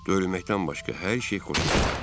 Döylməkdən başqa hər şey xoşuma gəldi.